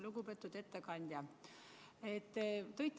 Lugupeetud ettekandja!